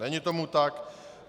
Není tomu tak.